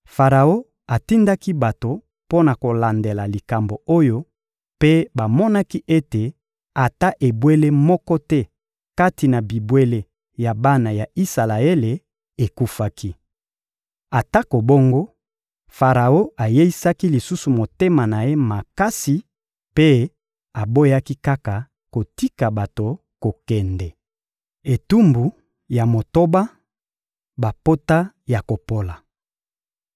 Faraon atindaki bato mpo na kolandela likambo oyo mpe bamonaki ete ata ebwele moko te kati na bibwele ya bana ya Isalaele ekufaki. Atako bongo, Faraon ayeisaki lisusu motema na ye makasi mpe aboyaki kaka kotika bato kokende. Etumbu ya motoba: bapota ya kopola